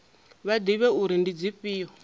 vha ḓivhe uri ndi dzifhio